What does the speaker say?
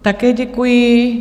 Také děkuji.